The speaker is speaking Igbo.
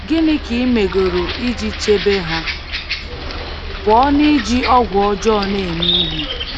Gịnị ka i megoro iji chebe ha pụọ n’iji ọgwụ ọjọọ na-eme ihe?